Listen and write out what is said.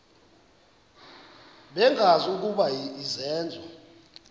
bengazi ukuba izenzo